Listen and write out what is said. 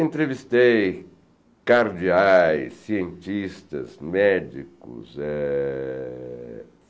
Entrevistei cardiais, cientistas, médicos. Eh